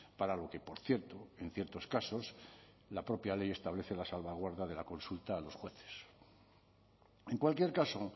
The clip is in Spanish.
para lo que por cierto en ciertos casos la propia ley establece la salvaguarda de la consulta a los jueces en cualquier caso